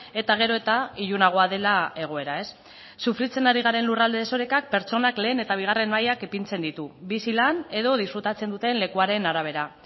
eta gero eta ilunagoa dela egoera sufritzen ari garen lurralde desorekak pertsonak lehen eta bigarren mailan ipintzen ditu bizi lan edo disfrutatzen duten lekuaren arabera